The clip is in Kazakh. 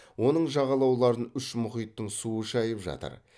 оның жағалауларын үш мұхиттың суы шайып жатыр